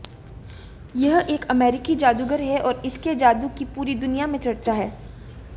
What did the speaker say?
यह एक अमेरिकी जादूगर है और इसके जादू की पूरी दुनिया में चर्चा है